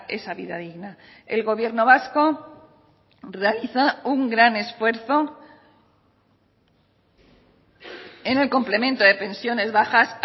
esa vida digna el gobierno vasco realiza un gran esfuerzo en el complemento de pensiones bajas